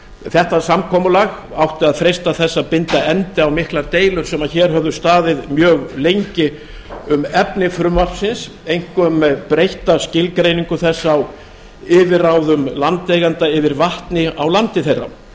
þetta samkomulag átti að freista þess að binda endi á miklar deilur sem hér höfðu staðið mjög lengi um efni frumvarpsins einkum breytta skilgreiningu þess á yfirráðum landeigenda yfir vatni á landi þeirra